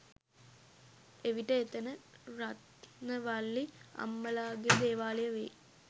එවිට එතැන රත්නවල්ලි අම්මලාගේ දේවාලය වෙයි.